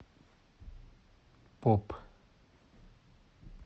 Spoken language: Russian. поп